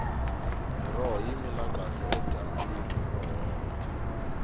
miroho yi mila kahle edyambini ro hola